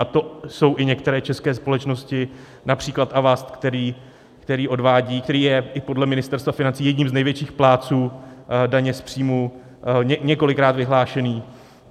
A to jsou i některé české společnosti, například Avast, který odvádí, který je i podle Ministerstva financí jedním z největších plátců daně z příjmu, několikrát vyhlášený.